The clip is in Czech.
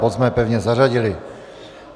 Bod jsme pevně zařadili.